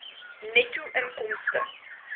netto inkomste